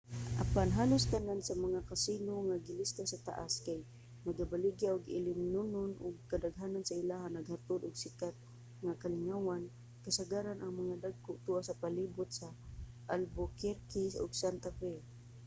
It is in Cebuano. apan halos tanan sa mga casino nga gilista sa taas kay nagabaligya og ilimnonon ug kadaghanan sa ilaha naghatod og sikat nga kalingawan kasagaran ang mga dagko tua sa palibot sa albuquerque ug santa fe